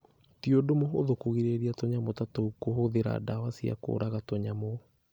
Ti ũndũ mũhũthũ kũgirĩrĩria tũnyamũ ta tũu kũhũthĩra ndawa cia kũraga tũnyamũ.